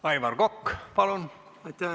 Aivar Kokk, palun!